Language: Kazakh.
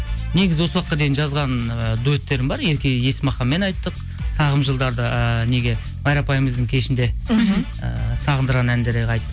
негізі осы уақытқа дейін жазған ыыы дуэттерім бар ерке есмаханмен айттық сағым жылдарды ыыы неге майра апайымыздың кешінде мхм ы сағындырған әндерде